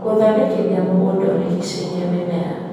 Gũthondekithia mũgũnda ũrigicĩirie mĩmera